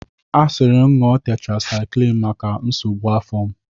A siri m ṅụọ tetrasaiklin maka nsogbu afọ a.